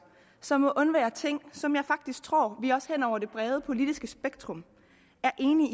som må undvære ting som jeg faktisk tror vi også hen over det brede politiske spektrum er enige